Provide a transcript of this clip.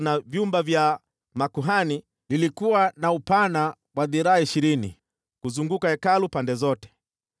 na vyumba vya makuhani lilikuwa na upana wa dhiraa ishirini kuzunguka Hekalu pande zote.